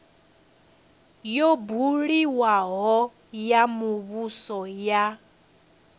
yo buliwaho ya muvhuso ya